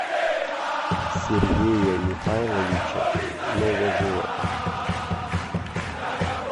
сергея михайловича новожилова